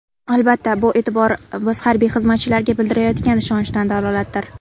Albatta, bu e’tibor biz harbiy xizmatchilarga bildirilayotgan ishonchdan dalolatdir.